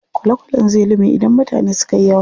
Kwale kwalen zai lume idan mutane sukayi yawa.